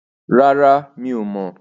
Rárá, mi ò mọ̀.